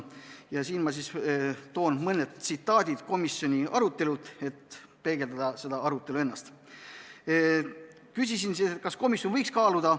Ma toon siin mõned tsitaadid komisjoni arutelult, et seda arutelu peegeldada.